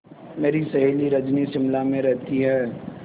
मेरी सहेली रजनी शिमला में रहती है